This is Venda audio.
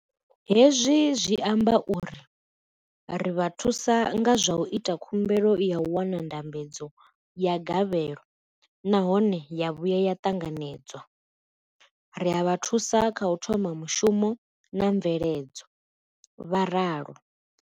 Hezwi zwi amba uri ri vha thusa nga zwa u ita khumbelo ya u wana ndambedzo ya gavhelo nahone ya vhuya ya ṱanganedzwa, ri a vha thusa kha u thoma mushumo na mveledzo vho ralo.